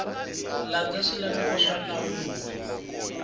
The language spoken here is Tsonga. landza swilaveko swa nawu lowu